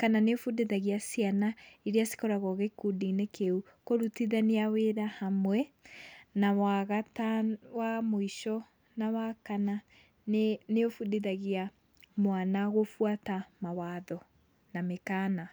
kana nĩũbundithagia ciana iria cikoragwo gĩkundi-inĩ kĩu kũrutithania wĩra hamwe. Na wagatano wa mũico na wa kana nĩũbundithagia mwana gũbuata mawatho na mĩkana.